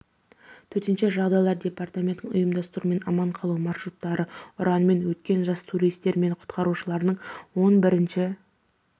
төтенше жағдайлар департаментінің ұйымдастыруымен аман қалу маршруттары ұранымен өткен жас туристер мен құтқарушылардың он бірінші